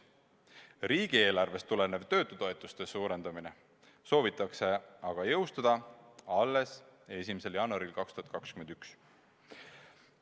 Riigieelarvest tulenev töötutoetuste suurendamine soovitakse aga jõustada alles 1. jaanuaril 2021.